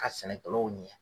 Ka sɛnɛkɛlaw ɲɛ.